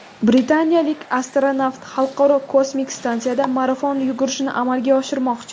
Britaniyalik astronavt Xalqaro kosmik stansiyada marafon yugurishini amalga oshirmoqchi.